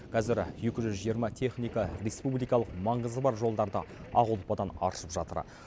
қазір екі жүз жиырма техника республикалық маңызы бар жолдарды ақ ұлпадан аршып жатыр